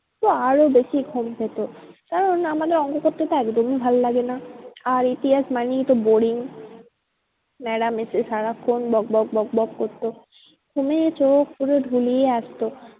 তো আরো বেশি ঘুম পেতো। কারণ আমাদের অঙ্ক করতে তো একদমই ভালো লাগে না। আর ইতিহাস মানেই তো boring madam এসে সারাক্ষন বকবক বকবক করতো। ঘুমে চোখ পুরো ঢুলিয়ে আসতো।